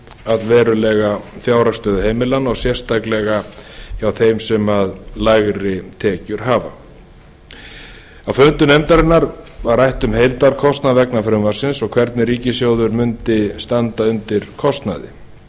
allverulega fjárhagsstöðu heimilanna og sérstaklega hjá þeim sem lægri tekjur hafa á fundum nefndarinnar var rætt um heildarkostnað vegna frumvarpsins og hvernig ríkissjóður mundi standa kostnaði